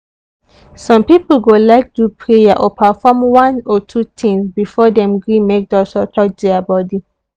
some people go like do prayer or perform one or two things before dem gree make doctor touch their body.